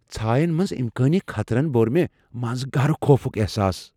ژھاین منز امكٲنی خطرن بو٘ر مے٘ منز گہرٕ خوفٗك احساس ۔